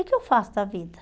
O que que eu faço da vida?